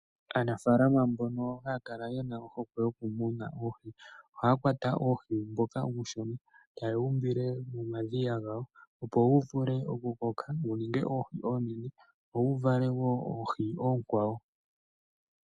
Aanafalama mbono hakala yena ohokwe yokumuna oohi ohakwata oohi mboka uushona ota yewumbile momadhiya gawo opo wuvule oku koka wuninge oohi onene wo wuvale wo oohi okwawo .